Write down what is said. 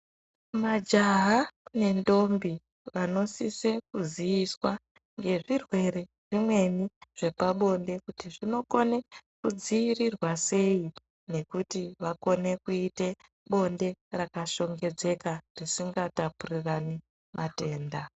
Majaha nendombi vanosisa kuziviswa ngezvirwere zvimweni zvepabonde kuti zvinokone kudzivirirwa seyi nekuti vakone kuite bondo rakashongedzeka risinga tapurirani matenda.